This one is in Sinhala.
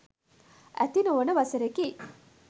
ඇති නොවෙන වසරකි.